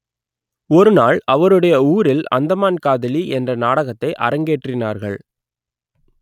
ஒரு நாள் அவருடைய ஊரில் அந்தமான் காதலி என்ற நாடகத்தை அரங்கேற்றினார்கள்